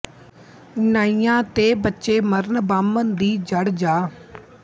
ਨਾਈਆ ਤੇ ਬੱਚੇ ਮਰਨ ਬਾਮਣ ਦੀ ਜੜ ਜਾ